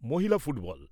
মহিলা ফুটবল